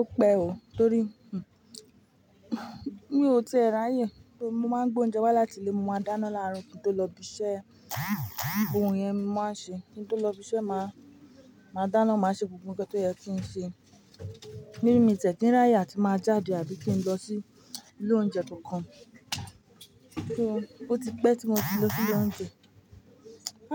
Ó pẹ́ oo, torí mi ò ti ẹ̀ r'áyè, mo máa ń gbé oúnjẹ wá láti ilé, mo máa dáná láàárọ̀ kí n tó lọ ibi iṣẹ́, òun yẹn mo máa ń ṣe. Kí n tó lọ ibi iṣẹ́ máa, máa dáná, máa ṣe gbogbo nǹkan tó yẹ kí n ṣe. Mí mí ti è kí ń r'áyè àti máa jáde àbí kí n lọ sí ilé oúnjẹ kankan. Kí ó, ó ti pẹ́ tí mo ti lọ sí ilé oúnjẹ.